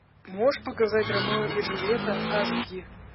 можешь показать ромео и джульетта ас ди